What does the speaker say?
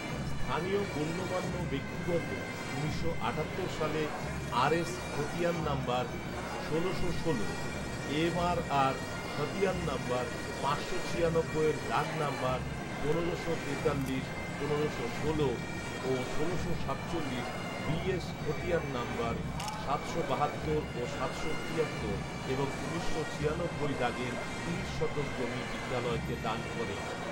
স্থানীয় গণ্যমান্য ব্যক্তিবর্গ উনিশশো আটাত্তর সালে আরএস খতিয়ান নাম্বার ষোলশো ষোল, এমআরআর খতিয়ান নাম্বার পাঁচশো ছিয়ানব্বইয়ের দাগ নাম্বার পনেরোশো তেতাল্লিশ, পনেরোশো ষোল ও ষোলশো সাতচল্লিশ বিএস খতিয়ান নম্বর সাতশো বাহাত্তর ও সাতশো তিয়াত্তর এবং উনিশশো ছিয়ানব্বই দাগের তিরিশ শতক জমি বিদ্যালয়কে দান করেন